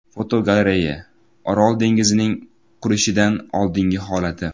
Fotogalereya: Orol dengizining qurishidan oldingi holati.